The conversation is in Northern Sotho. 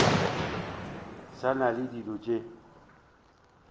sa na le dilo tše